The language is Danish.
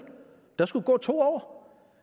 der skulle gå to år